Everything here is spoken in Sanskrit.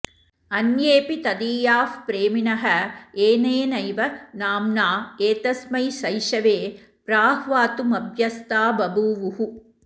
अन्येऽपि तदीयाः प्रेमिणः एनेनैव नाम्ना एतस्मै शैशवे प्राह्वातुमभ्यस्ता बभूवुः